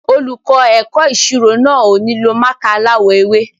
Olùkọ́ ẹ̀kọ́ ìṣirò náà ò ní lo mákà aláwọ̀ ewé.